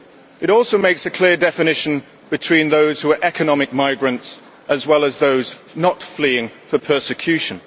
The UN also makes a clear definition of those who are economic migrants, as well as those not fleeing from persecution.